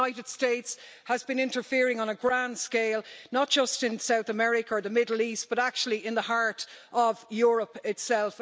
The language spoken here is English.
The USA has been interfering on a grand scale not just in South America or the Middle East but actually in the heart of Europe itself.